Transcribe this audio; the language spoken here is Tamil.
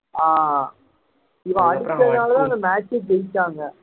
ஆஹ் இவன் அடிச்சதாலதான் அந்த match ஏ ஜெயிச்சாங்க கிட்ட